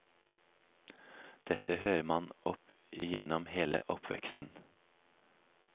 Dette hører man opp igjennom hele oppveksten.